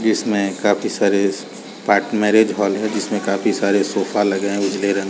जिसमें काफ़ी सारे जिसमें काफ़ी सारे सोफा लगे है नीले रंग --